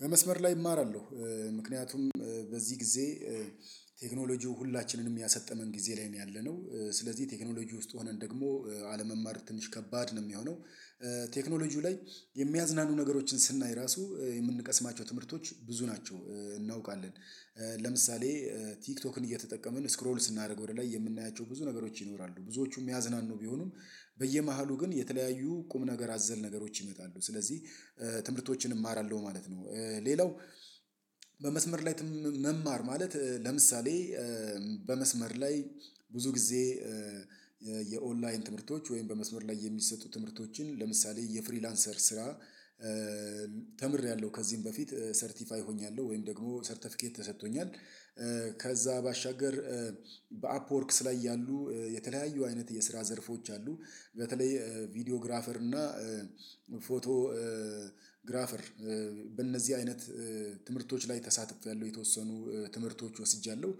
በመስመር ላይ እማራለሁ ምክንያቱም በዚህ ጊዜ ቴክኖሎጂው ሁላችንንም ያሰጠመን ጊዜ ላይ ነው ያለነው። ስለዚህ ቴክኖሎጂ ውስጥ ሆነን ደግሞ አለመማር ትንሽ ከባድ ነው የሚሆነው። ቴክኖሎጂው ላይ የሚያዝናኑ ነገሮችን ስናይ ራሱ የምንቀስማቸው ትምህርቶች ብዙ ናቸው እናውቃለን። ለምሳሌ ቲክቶክን እየተጠቀምን ስክሮል ስናደርግ ወደ ላይ የምናያቸው ብዙ ነገሮች ይኖራሉ ብዙዎቹም የሚያዝናኑ ቢሆኑም በየመሃሉ ግን የተለያዩ ቁም ነገር አዘል ነገሮች ይመጣሉ ስለዚህ ትምህርቶችን እማራለሁ ማለት ነው። ሌላው በመስመር ላይ መማር ማለት ለምሳሌ በመስመር ላይ ብዙ ጊዜ የኦንላይን ትምህርቶች ወይም በመስመር ላይ የሚሰጡ ትምህርቶችን ለምሳሌ የፍሪላንሰር ስራ ተምሬያለሁ ከዚህም በፊት ሰርቲፋይ ሆኛለሁ ወይም ደግሞ ሰርተፊኬት ተሰጥቶኛል። ከዛ ባሻገር በአፕወርክስ ላይ ያሉ የተለያዩ አይነት የስራ ዘርፎች አሉ በተለይ ቪዲዮ ግራፈር እና ፎቶ ግራፈር በእነዚህ አይነት ትምህርቶች ላይ ተሳትፌያለሁ የተወሰኑ ትምህርቶች ወስጃለሁ።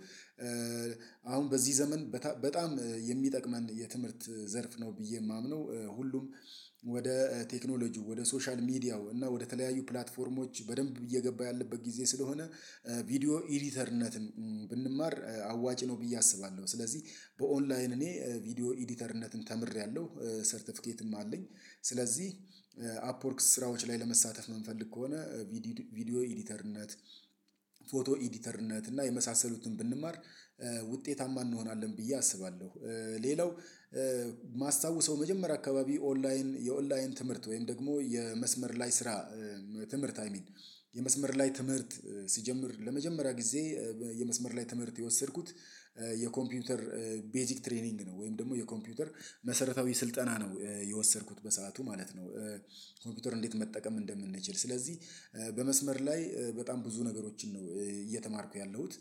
አሁን በዚህ ዘመን በጣም የሚጠቅመን የትምህርት ዘርፍ ነው ብዬ የማምነው ሁሉም ወደ ቴክኖሎጂ ወደ ሶሻል ሚዲያው እና ወደ ተለያዩ ፕላትፎርሞች በደንብ እየገባ ያለበት ጊዜ ስለሆነ ቪዲዮ ኤዲተርነትን ብንማር አዋጭ ነው ብዬ አስባለሁ። ስለዚህ በኦንላይን እኔ ቪዲዮ ኤዲተርነትን ተምሬያለሁ ሰርተፊኬትም አለኝ። ስለዚህ አፕወርክስ ስራዎች ላይ ለመሳተፍ ነው የምፈልግ ከሆነ ቪዲዮ ኤዲተርነት ፎቶ ኤዲተርነት እና የመሳሰሉትን ብንማር ውጤታማ እንሆናለን ብዬ አስባለሁ። ሌላው ማስታወሰው መጀመሪያ አካባቢ ኦንላይን የኦንላይን ትምህርት ወይም ደግሞ የመስመር ላይ ስራ ትምህርት አይ ሚን የመስመር ላይ ትምህርት ሲጀምር ለመጀመሪያ ጊዜ የመስመር ላይ ትምህርት የወሰድኩት የኮምፒውተር ቤዚክ ትሬኒንግ ነው ወይም ደግሞ የኮምፒውተር መሰረታዊ ስልጠና ነው የወሰድኩት በሰአቱ ማለት ነው። ኮምፒውተር እንዴት መጠቀም እንደምንችል ስለዚህ በመስመር ላይ በጣም ብዙ ነገሮችን ነው እየተማርኩ ያለሁት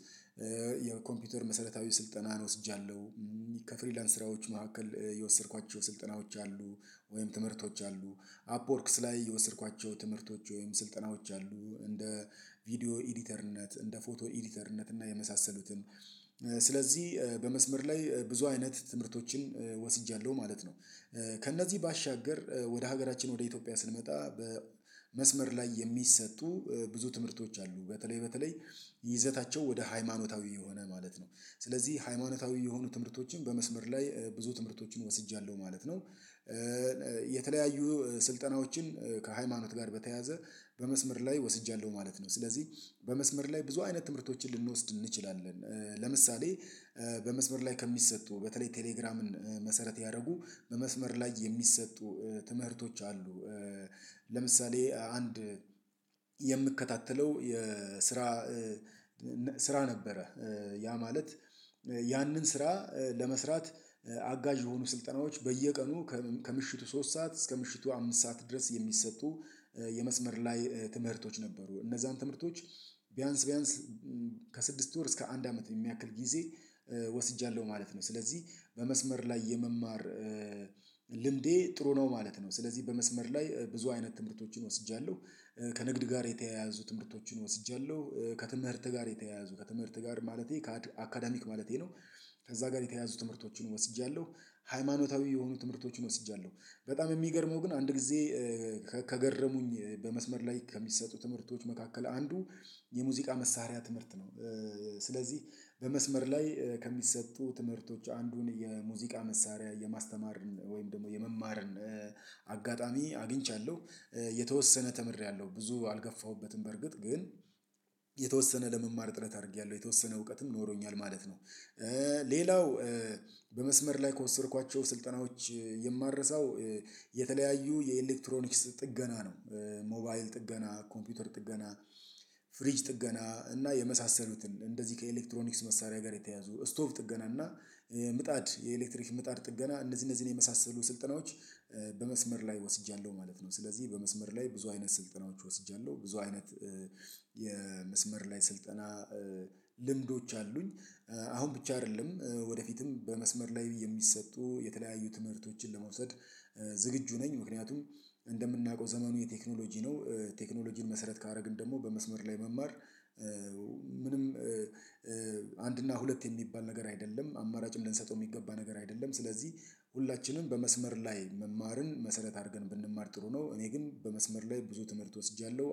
የኮምፒውተር መሰረታዊ ስልጠና ነው ወስጃለሁ። ከፍሪላንስ ስራዎች መካከል የወሰድኳቸው ስልጠናዎች አሉ ወይም ትምህርቶች አሉ አፕወርክስ ላይ የወሰድኳቸው ትምህርቶች ወይም ስልጠናዎች አሉ እንደ ቪዲዮ ኤዲተርነት እንደ ፎቶ ኤዲተርነት እና የመሳሰሉትን ስለዚህ በመስመር ላይ ብዙ አይነት ትምህርቶችን ወስጃለሁ ማለት ነው። ከእነዚህ ባሻገር ወደ ሀገራችን ወደ ኢትዮጵያ ስንመጣ በመስመር ላይ የሚሰጡ ብዙ ትምህርቶች አሉ በተለይ በተለይ ይዘታቸው ወደ ሃይማኖታዊ የሆነ ማለት ነው ስለዚህ ሃይማኖታዊ የሆኑ ትምህርቶችን በመስመር ላይ ብዙ ትምህርቶችን ወስጃለሁ ማለት ነው። የተለያዩ ስልጠናዎችን ከሃይማኖት ጋር በተያያዘ በመስመር ላይ ወስጃለሁ ማለት ነው። ስለዚህ በመስመር ላይ ብዙ አይነት ትምህርቶችን ልንወስድ እንችላለን ለምሳሌ በመስመር ላይ ከሚሰጡ በተለይ ቴሌግራምን መሰረት ያደረጉ በመስመር ላይ የሚሰጡ ትምህርቶች አሉ። ለምሳሌ አንድ የምከታተለው የስራ ስራ ነበረ ያ ማለት ያንን ስራ ለመስራት አጋዥ የሆኑ ስልጠናዎች በየቀኑ ከምሽቱ ሶስት ሰዓት እስከ ምሽቱ አምስት ሰዓት ድረስ የሚሰጡ የመስመር ላይ ትምህርቶች ነበሩ እነዛን ትምህርቶች ቢያንስ ቢያንስ ከስድስት ወር እስከ አንድ አመት የሚያክል ጊዜ ወስጃለሁ ማለት ነው። ስለዚህ በመስመር ላይ የመማር ልምዴ ጥሩ ነው ማለት ነው። ስለዚህ በመስመር ላይ ብዙ አይነት ትምህርቶችን ወስጃለሁ ከንግድ ጋር የተያያዙ ትምህርቶችን ወስጃለሁ ከትምህርት ጋር የተያያዙ ከትምህርት ጋር ማለቴ ከአካዳሚክ ማለቴ ነው። ከዛ ጋር የተያያዙ ትምህርቶችን ወስጃለሁ ሃይማኖታዊ የሆኑ ትምህርቶችን ወስጃለሁ በጣም የሚገርመው ግን አንድ ጊዜ ከገረሙኝ በመስመር ላይ ከሚሰጡ ትምህርቶች መካከል አንዱ የሙዚቃ መሳሪያ ትምህርት ነው። ስለዚህ በመስመር ላይ ከሚሰጡ ትምህርቶች አንዱን የሙዚቃ መሳሪያ የማስተማርን ወይም ደግሞ የመማርን አጋጣሚ አግኝቻለሁ የተወሰነ ተምሬያለሁ ብዙ አልገፋሁበትም በርግጥ ግን የተወሰነ ለመማር ጥረት አድርጌያለሁ የተወሰነ እውቀትም ኖሮኛል ማለት ነው። ሌላው በመስመር ላይ ከወሰድኳቸው ስልጠናዎች የማረሳው የተለያዩ የኤሌክትሮኒክስ ጥገና ነው። ሞባይል ጥገና ኮምፒውተር ጥገና ፍሪጅ ጥገና እና የመሳሰሉትን እንደዚህ ከኤሌክትሮኒክስ መሳሪያ ጋር የተያዙ ስቶፕ ጥገና እና ምጣድ የኤሌክትሪክ ምጣድ ጥገና እነዚህ እነዚህን የመሳሰሉ ስልጠናዎች በመስመር ላይ ወስጃለሁ ማለት ነው። ስለዚህ በመስመር ላይ ብዙ አይነት ስልጠናዎች ወስጃለሁ ብዙ አይነት የመስመር ላይ ስልጠና ልምዶች አሉኝ። አሁን ብቻ አይደለም ወደፊትም በመስመር ላይ የሚሰጡ የተለያዩ ትምህርቶችን ለመውሰድ ዝግጁ ነኝ ምክንያቱም እንደምናውቀው ዘመኑ የቴክኖሎጂ ነው። ቴክኖሎጂን መሰረት ካደረግን ደግሞ በመስመር ላይ መማር ምንም አንድ እና ሁለት የሚባል ነገር አይደለም አማራጭም ልንሰጠው የሚገባ ነገር አይደለም ስለዚህ ሁላችንም በመስመር ላይ መማርን መሰረት አድርገን ብንማር ጥሩ ነው እኔ ግን በመስመር ላይ ብዙ ትምህርት ወስጃለሁ